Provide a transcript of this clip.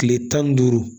Kile tan ni duuru